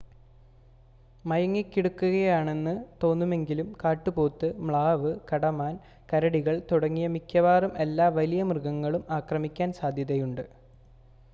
മയങ്ങി കിടക്കുകയാണെന്ന് തോന്നുമെങ്കിലും കാട്ടുപോത്ത് മ്ലാവ് കടമാൻ കരടികൾ തുടങ്ങിയ മിക്കവാറും എല്ലാ വലിയ മൃഗങ്ങളും ആക്രമിക്കാൻ സാധ്യതയുണ്ട്